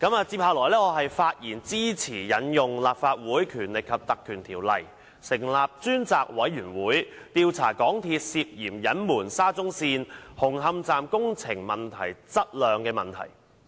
接下來，我發言支持引用《立法會條例》，成立專責委員會，調查香港鐵路有限公司涉嫌隱瞞沙中線紅磡站工程質量的問題。